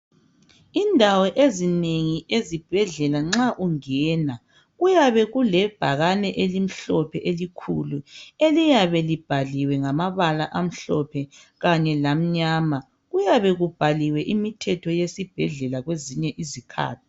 Indawo ezinengi ezibhedlela nxa ungena kuyabe kulebhakane elimhlophe elikhulu eliyabe libhaliwe ngambala amhlophe kanye lamnyama, kuyabe libhaliwe imithetho yesibhedlela kwezinye izikhathi.